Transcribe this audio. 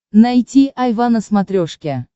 найти айва на смотрешке